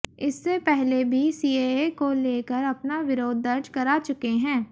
इससे पहले भी सीएए को लेकर अपना विरोध दर्ज करा चुके हैं